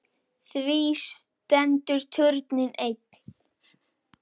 Því stendur turninn enn.